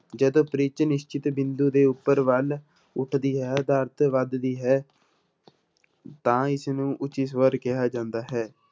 ਜਦੋਂ ਪਿੱਚ ਨਿਸ਼ਚਿਤ ਬਿੰਦੂ ਦੇ ਉੱਪਰ ਵੱਲ ਉੱਠਦੀ ਹੈ ਦਾ ਅਰਥ ਵੱਧਦੀ ਹੈ ਤਾਂ ਇਸਨੂੰ ਉੱਚੀ ਸਵਰ ਕਿਹਾ ਜਾਂਦਾ ਹੈ।